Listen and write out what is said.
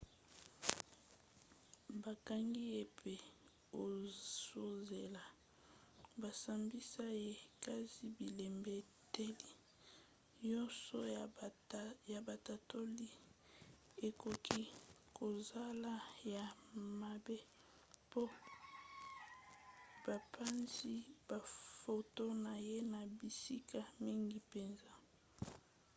bakangi ye mpe azozela basambisa ye kasi bilembeteli nyonso ya batatoli ekoki kozala ya mabe mpo bapanzi bafoto na ye na bisika mingi mpenza